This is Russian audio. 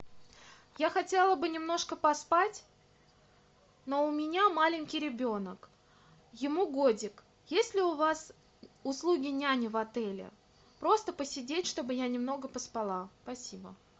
я хотела бы немножко поспать но у меня маленький ребенок ему годик есть ли у вас услуги няни в отеле просто посидеть чтобы я немного поспала спасибо